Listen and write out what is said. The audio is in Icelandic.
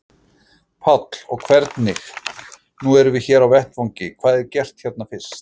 Páll: Og hvernig, nú erum við hér á vettvangi, hvað er gert hérna fyrst?